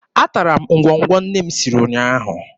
Atara m ngwọngwọ nne m siri ụnyaahụ.